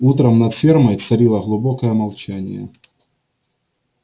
утром над фермой царило глубокое молчание